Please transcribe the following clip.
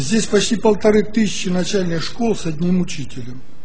здесь почти полторы тысячи начальной школы с одним учителем